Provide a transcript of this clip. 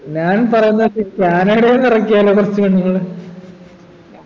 ഞാൻ പറയുന്നത് ഞാനിവിടെ ഇറക്കിയാലോ കുറച്ച് പെണ്ണുങ്ങളെ